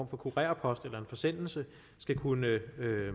for kurerpost eller i en forsendelse skal kunne